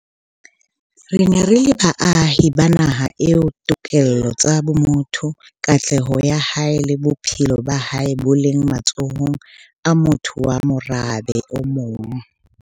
Re ne re le baahi ba naha eo ditokelo tsa motho, katleho ya hae le bophelo ba hae bo leng matsohong a motho wa morabe o mong.